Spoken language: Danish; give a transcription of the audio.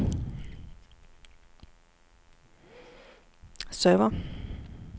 server